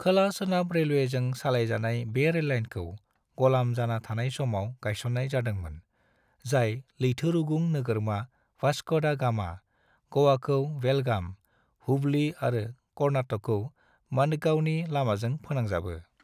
खोला सोनाब रेलवेजों सालायजानाय बे रेललाइनखौ ग'लाम जाना थानाय समाव गायसननाय जादोंमोन, जाय लैथोरुगुं नोगोरमा वास्को दा गामा, गोवाखौ बेलगाम, हुबली आरो कर्नाटकखौ मडगांवनि लामाजों फोनांजाबो।